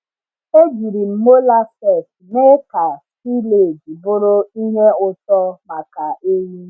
Ejiri m molasses mee ka silage bụrụ ihe ụtọ maka ewú.